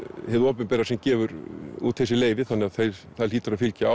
hið opinbera sem gefur út þessi leyfi þannig að það hlýtur að fylgja